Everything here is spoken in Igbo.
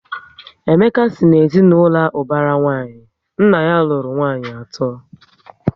Emeka si na ezinaụlọ ubara nwanyi, nna ya lụrụ nwanyị ato